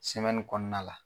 Sɛmɛnni kɔnɔna la